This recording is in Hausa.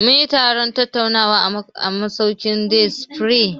Mun yi taron tattaunawa a masaukin Day spring.